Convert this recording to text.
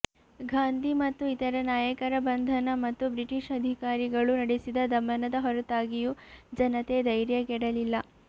ಗಾಂಧಿ ಮತ್ತು ಇತರ ನಾಯಕರ ಬಂಧನ ಮತ್ತು ಬ್ರಿಟಿಷ್ ಅಧಿಕಾರಿಗಳು ನಡೆಸಿದ ದಮನದ ಹೊರತಾಗಿಯೂ ಜನತೆ ಧೈರ್ಯಗೆಡಲಿಲ್ಲ